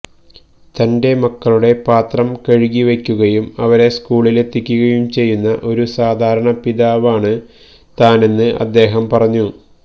തന്റെ മക്കളുടെ പാത്രം കഴുകിവയ്ക്കുകയും അവരെ സ്കൂളിലെത്തിക്കുകയും ചെയ്യുന്ന ഒരു സാധാരണ പിതാവാണ് താനെന്ന് അദ്ദേഹം പറഞ്ഞു